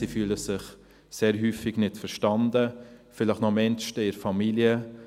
Sie fühlen sich sehr häufig nicht verstanden, vielleicht noch am ehesten in der Familie.